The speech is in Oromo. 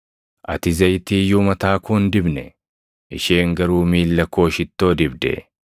Ati Zayitii iyyuu mataa koo hin dibne; isheen garuu miilla koo shittoo dibde.